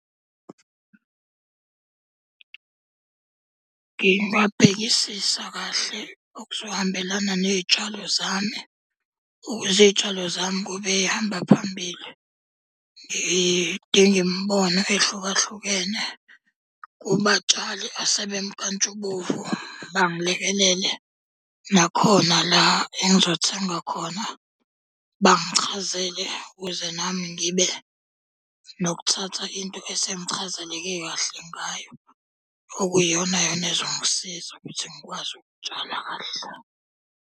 Ngingabhekisisa kahle okuzohambelana ney'tshalo zami ukuze iy'tshalo zami kube ey'hamba phambili. Ngidinge imibono ehlukahlukene kubatshali asebemnkantshubovu bangilekelele. Nakhona la engizothenga khona, bangichazele ukuze nami ngibe nokuthatha into esengichazeleke kahle ngayo. Okuyiyona yona ezongisiza ukuthi ngikwazi ukutshala kahle.